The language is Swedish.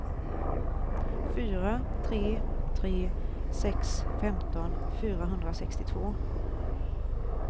fyra tre tre sex femton fyrahundrasextiotvå